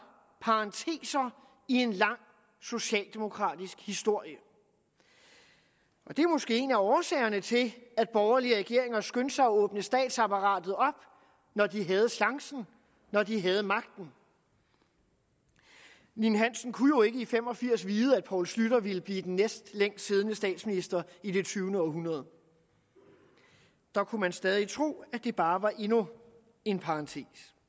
parenteser i en lang socialdemokratisk historie og det var måske en af årsagerne til at borgerlige regeringer skyndte sig at åbne statsapparatet op når de havde chancen når de havde magten ninn hansen kunne jo ikke i nitten fem og firs vide at poul schlüter ville blive den næstlængstsiddende statsminister i det tyvende århundrede der kunne man stadig tro at det bare var endnu en parentes